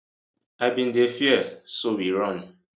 i bin dey fear so we run